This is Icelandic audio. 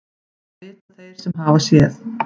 Það vita þeir sem hafa séð.